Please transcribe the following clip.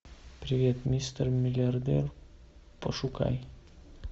привет мистер миллиардер пошукай